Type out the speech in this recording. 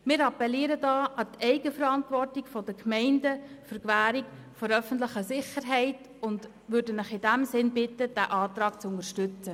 Wir appellieren an die Eigenverantwortung der Gemeinden zur Gewährleistung der öffentlichen Sicherheit und bitten den Rat in diesem Sinn, den Antrag zu unterstützen.